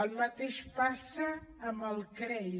el mateix passa amb els crei